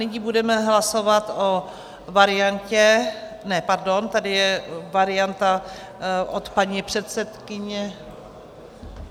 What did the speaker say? Nyní budeme hlasovat o variantě, ne, pardon, tady je varianta od paní předsedkyně.